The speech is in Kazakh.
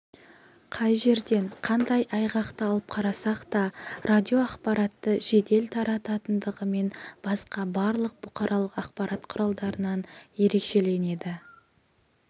қай жерден қандай айғақты алып қарасақ та радио ақпаратты жедел тарататындығымен басқа барлық бұқаралық ақпарат құралдарынан ерекшеленеді